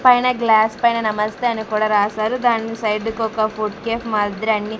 పైన గ్లాస్ పైన నమస్తే అని కూడా రాశారు దాని సైడ్ కి ఒక ఫుడ్ కేఫ్ మాదిరి అన్ని --